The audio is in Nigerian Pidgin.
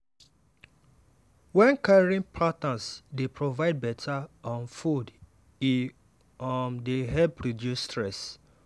wen caring partners dey provide better um food e um dey help reduce stress.